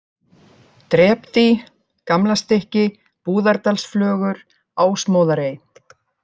Drepdý, Gamlastykki, Búðardalsflögur, Ásmóðarey